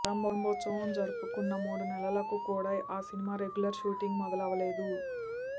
ప్రారంభోత్సవం జరుపుకున్న మూడు నెలలకు కూడా ఆ సినిమా రెగ్యులర్ షూటింగ్ మొదలవలేదు